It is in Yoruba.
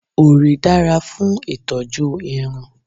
Òrí dára fún ìtọ́jú irun